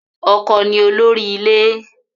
Ọkọ ni olórí ilé